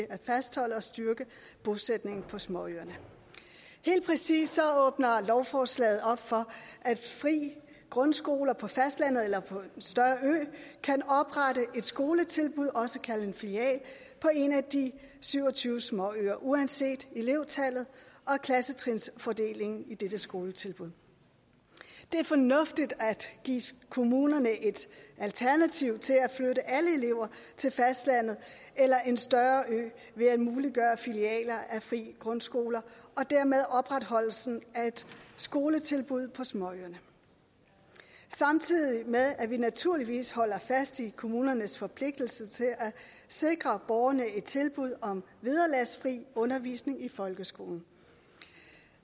at fastholde og styrke bosætningen på småøerne helt præcis åbner lovforslaget op for at fri grundskoler på fastlandet eller på en større ø kan oprette et skoletilbud også kaldet en filial på en af de syv og tyve småøer uanset elevtallet og klassetrinsfordelingen i dette skoletilbud det er fornuftigt at give kommunerne et alternativ til at flytte alle elever til fastlandet eller en større ø ved at muliggøre filialer af fri grundskoler og dermed opretholdelsen af et skoletilbud på småøerne samtidig med at vi naturligvis holder fast i kommunernes forpligtelse til at sikre borgerne et tilbud om vederlagsfri undervisning i folkeskolen